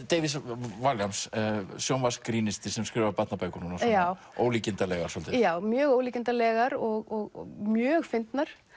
David Walliams sjónvarpsgrínisti sem skrifar barnabækur núna ólíkindalegar svolítið já mjög ólíkindalegar og mjög fyndnar